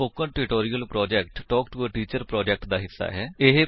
spoken tutorial project talk to a teacher project ਦਾ ਹਿੱਸਾ ਹੈ